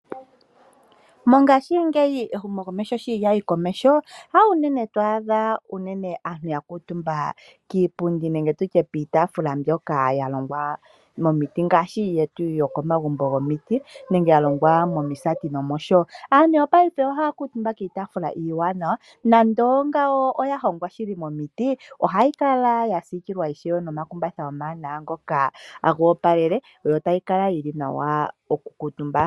Mongashingeyi ehumokomeho sho lyayi komeho, hawunene twaadha unene aantu ya kuutumba kiipundi nenge piitafula mbyoka ya longwa momiti ngaashi yetu yokomagumbo gomiti nenge ya longwa momisaati nosho tuu. Aantu yopaife oha kuutumba kiipundi iiwanawa nande ongawo oya hongwa shili momiti, ohayi kala ishewe yasiikilwa nomakumbatha ngono omaanawa ngoka tagoopalele yo tayi kala yili nawa okukuutumbwa.